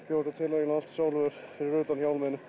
bjó þetta til eiginlega allt sjálfur fyrir utan hjálminn